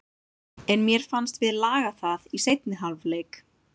En mér fannst við laga það í seinni hálfleik.